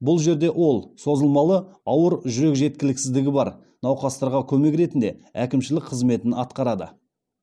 бұл жерде ол созылмалы ауыр жүрек жеткіліксіздігі бар науқастарға көмек ретінде әкімшілік қызметін атқарады